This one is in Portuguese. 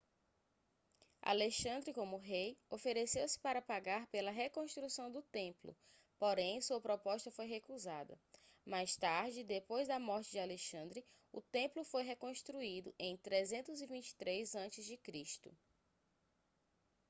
alexandre como rei ofereceu-se para pagar pela reconstrução do templo porém sua proposta foi recusada mais tarde depois da morte de alexandre o templo foi reconstruído em 323 ac